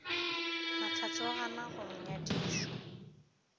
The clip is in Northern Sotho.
mahlatse o ganwa go nyadišwa